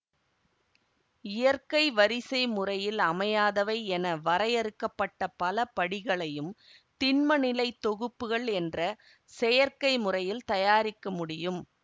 இயற்கை வரிசைமுறையில் அமையாதவை என வரையறுக்க பட்ட பலபடிகளையும் திண்ம நிலை தொகுப்புகள் என்ற செயற்கை முறையில் தயாரிக்க முடியும்